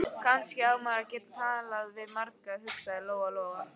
Kannski á maður að geta talað við marga, hugsaði Lóa-Lóa.